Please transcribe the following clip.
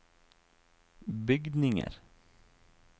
bygninger